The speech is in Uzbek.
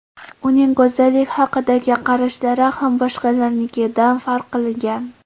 Uning go‘zallik haqidagi qarashlari ham boshqalarnikidan farq qilgan.